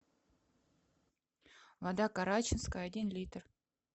вода карачинская один литр